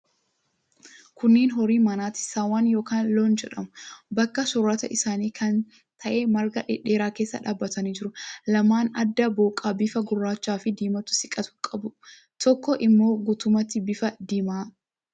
Kunneen horii manaati. Saawwan yookiin loon jedhamu. Bakka soorata isaanii kan ta'e marga dhedheeraa keessa dhaabbatanii jiru. Lamni adda booqaa, bifa gurraachaafi diimaatti siqatu qabu. Tokko immoo guutummaatti bifa diimaa qabdi.